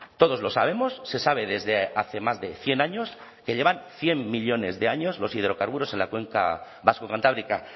todos lo sabemos se sabe desde hace más de cien años que llevan cien millónes de años los hidrocarburos en la cuenca vasco cantábrica